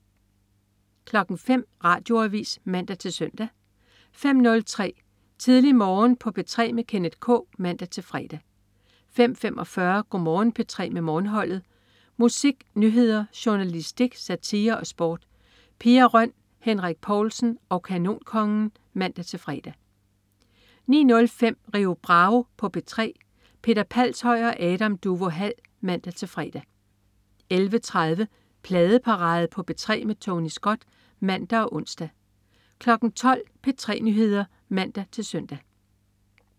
05.00 Radioavis (man-søn) 05.03 Tidlig Morgen på P3 med Kenneth K (man-fre) 05.45 Go' Morgen P3 med Morgenholdet. Musik, nyheder, journalistik, satire og sport. Pia Røn, Henrik Povlsen og Kanonkongen (man-fre) 09.05 Rio Bravo på P3. Peter Palshøj og Adam Duvå Hall (man-fre) 11.30 Pladeparade på P3 med Tony Scott (man og ons) 12.00 P3 Nyheder (man-søn)